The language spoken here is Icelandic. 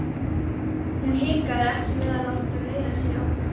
Hún hikaði ekki við að láta leiða sig áfram.